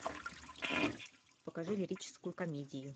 покажи лирическую комедию